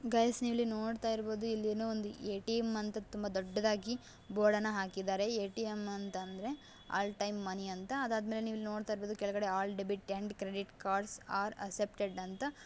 Guys ನೀವು ಇಲ್ಲಿ ನೋಡ್ತಇರಬಹುದು ಇಲ್ಲಿ ಎ_ಟಿ _ಎಮ್ ಅಂತ ತುಂಬ ದೊಡ್ಡದಾಗಿ ಬೋರ್ಡ್ ಅನ್ನ ಹಾಕಿದ್ದಾರೆ. ಎ_ಟಿ _ಎಮ್ ಅಂತ್ ಅಂದ್ರೆ ಆಲ್ ಟೈಮ್ ಮನಿ ಅಂತ. ಅದಾದ್ಮೇಲೆ ನೀವು ಇಲ್ಲಿ ನೋಡ್ತಾ ಇರ್ಬಹುದು ಕೆಳಗಡೆ ಎಲ್ಲ debit and credit card are accepted ಅಂತ --